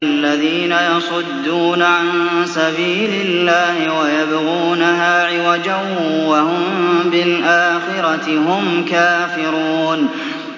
الَّذِينَ يَصُدُّونَ عَن سَبِيلِ اللَّهِ وَيَبْغُونَهَا عِوَجًا وَهُم بِالْآخِرَةِ هُمْ كَافِرُونَ